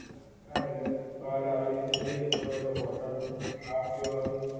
હા ઍટલે બાર આવી રીતે જઈ તો એ હોટેલ નું ખાવા પીવા નું